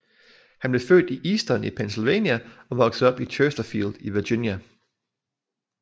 Han blev født i Easton i Pennsylvania og voksede op i Chersterfield i Virginia